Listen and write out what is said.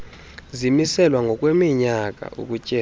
zimiselwa ngokweminyaka ukutyeba